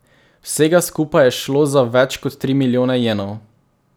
Vsega skupaj je šlo za več kot tri milijone jenov.